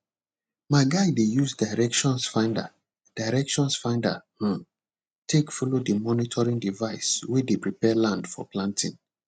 my guy dey use direction finder direction finder um take follow the monitoring device way dey prepare land for planting